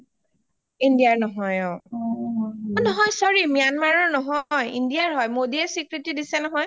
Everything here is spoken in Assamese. india ৰ নহয় অ নহয় sorry myanmar ৰ নহয় india ৰ হয় মোদী এ চিকৃতী দিছে নহয়